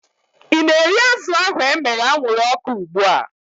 I na-eri azụ ahu emere anwụrụ ọkụ ugbua?